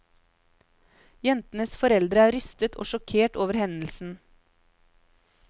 Jentenes foreldre er rystet og sjokkert over hendelsen.